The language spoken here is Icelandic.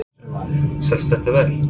Kristján: Selst þetta vel?